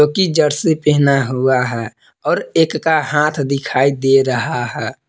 की जर्सी पहना हुआ है और एक का हाथ दिखाई दे रहा है।